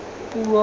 puo